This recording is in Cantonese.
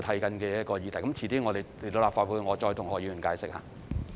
稍後來到立法會，我再跟何議員解釋。